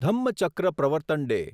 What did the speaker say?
Dhammachakra Pravartan day